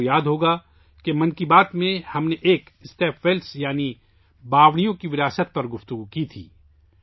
آپ کو یاد ہوگا، 'من کی بات' میں ہم نے ایک بار اسٹیپ ویلس یعنی باوڑیوں کی وراثت پر بات کی تھی